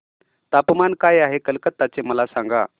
तापमान काय आहे कलकत्ता चे मला सांगा